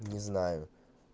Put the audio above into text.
не знаю